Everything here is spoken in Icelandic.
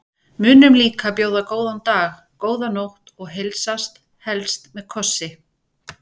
Munum líka að bjóða góðan dag, góða nótt og heilsast, helst með kossi.